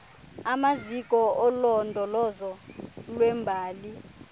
zamaziko olondolozo lwembali